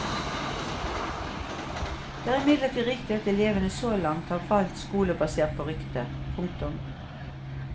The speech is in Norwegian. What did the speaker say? Det er imidlertid riktig at elevene så langt har valgt skole basert på rykter. punktum